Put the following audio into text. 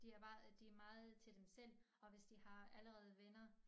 De er meget de er meget til dem selv og hvis de har allerede venner